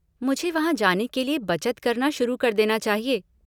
मुझे वहाँ जाने के लिये बचत करना शुरू कर देना चाहिए।